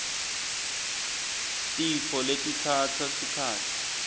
tifo letitsatsa sikhatsi